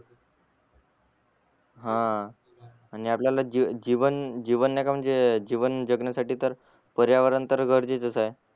हा आणि आपल्यला जीवन जीवन नाहीका म्हणजे जीवन जगण्यासाठी तर पर्यावरण तर गरजेच आहे